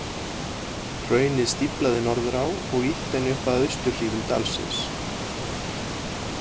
Hraunið stíflaði Norðurá og ýtti henni upp að austurhlíðum dalsins.